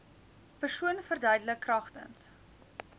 persoon verduidelik kragtens